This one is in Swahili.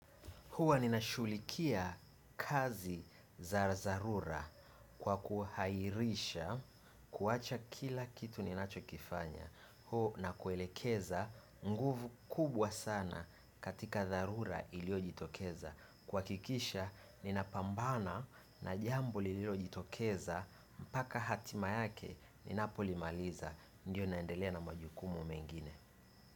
Huwa nina shughulikia kazi za dharura kwa kuahirisha kuacha kila kitu ninachokifanya. Huo nakuelekeza nguvu kubwa sana katika dharura iliyojitokeza. Kuhakikisha ninapambana na jambo lililojitokeza mpaka hatima yake ninapolimaliza. Ndiyo naendelea na majukumu mengine.